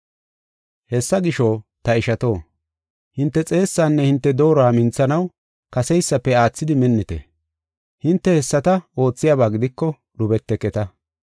Hessa gisho, ta ishato, hinte xeessanne hinte dooruwa minthanaw kaseysafe aathidi minnite. Hinte hessata oothiyaba gidiko, dhubeteketa.